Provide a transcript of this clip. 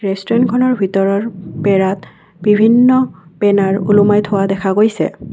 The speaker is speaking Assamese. ৰেষ্টুৰেন্ট খনৰ ভিতৰৰ বেৰাত বিভিন্ন বেনাৰ ওলোমাই থোৱা দেখা গৈছে।